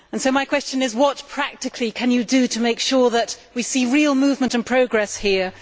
My question is what practically can you do to make sure that we see real movement and progress here?